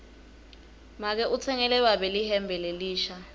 make utsengele babe lihembe lelisha